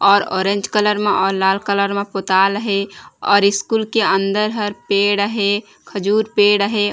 और orange colour मा और लाल कलर मा पोताल हे और स्कूल के अंदर हर पेड़ हे खजूर पेड़ हे।